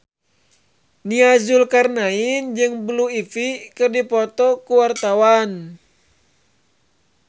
Nia Zulkarnaen jeung Blue Ivy keur dipoto ku wartawan